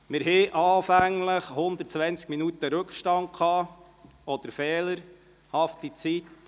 Anfänglich hatten wir einen Rückstand von 120 Minuten.